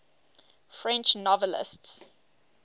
french novelists